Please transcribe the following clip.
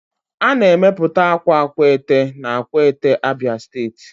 A na-emepụta akwa Akwete na akwete, abia steeti